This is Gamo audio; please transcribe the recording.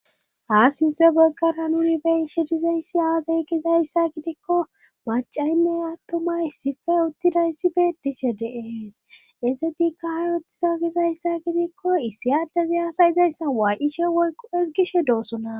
ha sinte baggara nuni be'ishe dizayssi aaze gizayssa gidikko macaynne attuma issippe uttidayssi beettishe de'ees izetikka ay ooththizo gizayssa gidikko issi addezi hasayizayssa waa'ishe woykko ezgishe doosona